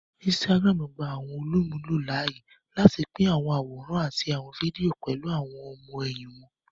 Instagram gbà àwọn olumulo láàyè láti pin àwọn àwòrán àti àwon fídíò pẹlú àwon ọmọ-ẹhin wón